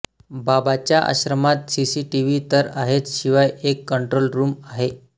बाबाच्या आश्रमात सीसीटीव्ही तर आहेच शिवाय एक कंट्रोल रूम आहे